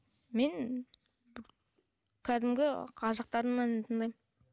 мен кәдімгі қазақтардың әнін тыңдаймын